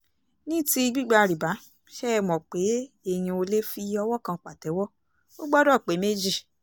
ní ti gbígba rìbá ṣe é mọ̀ pé èèyàn ò lè fi owó kan pàtẹ́wọ́ ò gbọ́dọ̀ pé méjì